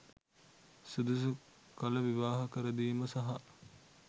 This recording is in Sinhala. සුදුසු කල විවාහ කරදීම සහ